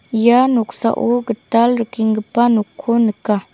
ia noksao gital rikenggipa nokko nika.